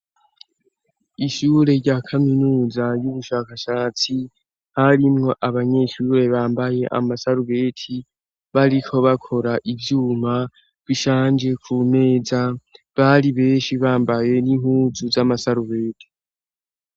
Ishure rya kaminuza y'ubushakashatsi ,harimwo abanyeshure bambaye amasarubeti, bariko bakora ivyuma bishanje ku meza, bari benshi bambaye n'impuzu z'amasarubeti